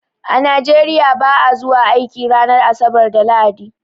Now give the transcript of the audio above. A Nigeria ba'a zuwa aiki ranar asabar da lahadi